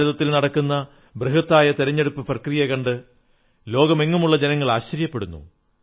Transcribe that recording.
ഭാരതത്തിൽ നടക്കുന്ന ബൃഹത്തായ തിരഞ്ഞെടുപ്പു പ്രക്രിയ കണ്ട് ലോകമെങ്ങുമുള്ള ജനങ്ങൾ ആശ്ചര്യപ്പെടുന്നു